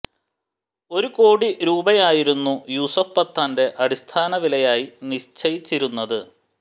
ഒരു കോടി രൂപയായിരുന്നു യൂസഫ് പത്താന്റെ അടിസ്ഥാന വിലയായി നിശ്ചയിച്ചിരുന്നത്